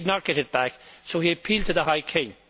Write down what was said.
He did not get it back so he appealed to the High King.